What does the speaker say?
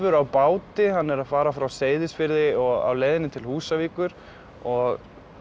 á báti hann er að fara frá Seyðisfirði og á leiðinni til Húsavíkur og